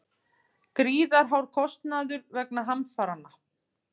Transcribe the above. Gríðarhár kostnaður vegna hamfaranna